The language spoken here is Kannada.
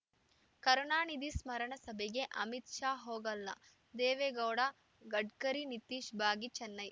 ಕರುಣಾನಿಧಿ ಸ್ಮರಣ ಸಭೆಗೆ ಅಮಿತ್‌ ಶಾ ಹೋಗಲ್ಲ ದೇವೇಗೌಡ ಗಡ್ಕರಿ ನಿತೀಶ್‌ ಭಾಗಿ ಚೆನ್ನೈ